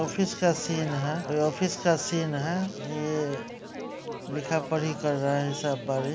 Office का scene हैं और ये ऑफिस का सीन हैं ये लिखा पड़ी कर रहा हैं सब बड़े।